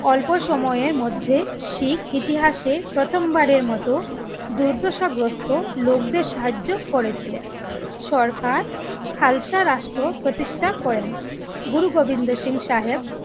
অল্প সময়ের মধ্যে শিখ ইতিহাসে প্রথম বারের মতো দূর্দশাগ্রস্ত লোকদের সাহায্য করেছিলেন। সরকার খালসা রাষ্ট্র প্রতিষ্টা করেন। গুরু গোবিন্দ সিং সাহেব